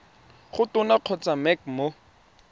go tona kgotsa mec mo